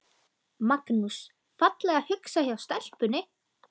Magnús: Fallega hugsað hjá stelpunni?